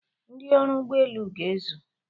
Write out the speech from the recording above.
Ndị ọrụ ụgbọelu ga-ezu.